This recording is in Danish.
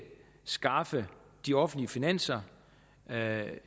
skaffe de offentlige finanser